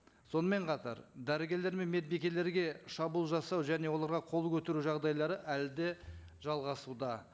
сонымен қатар дәрігерлер мен медбикелерге шабуыл жасау және оларға қол көтеру жағдайлары әлі де жалғасуда